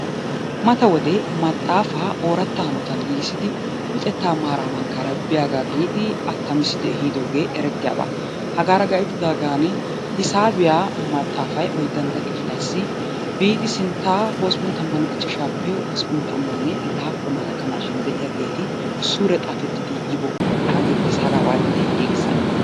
Mata wode maxxaafaa ooratta hanotan giigissidi luxettaa maaraa mankkaara biyagaa giidi attamissidi ehidoogee erettiyaba. Hagaara gayttidaagaani hisaabiya maxaafay oyddantta kifiliyassi biidi sinttaa hosppun tammanne ichchashaappe hosppun tammanne laappunaa gakkanaashin de'iyageeti suure xaafettidi yibookkonaa geettees. Hagaa waati giigissanee?